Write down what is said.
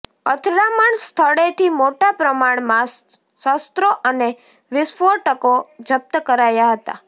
અથડામણ સ્થળેથી મોટા પ્રમાણમાં શસ્ત્રો અને વિસ્ફોટકો જપ્ત કરાયા હતા